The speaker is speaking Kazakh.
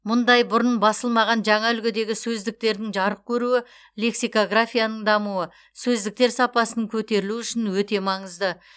мұндай бұрын басылмаған жаңа үлгідегі сөздіктердің жарық көруі лексикографияның дамуы сөздіктер сапасының көтерілуі үшін өте маңызды